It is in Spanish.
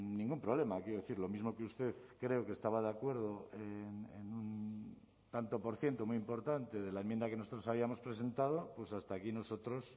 ningún problema quiero decir lo mismo que usted creo que estaba de acuerdo en un tanto por ciento muy importante de la enmienda que nosotros habíamos presentado pues hasta aquí nosotros